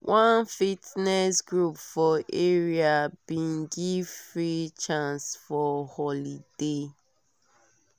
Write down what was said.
one fitness group for area bin give free chance for holiday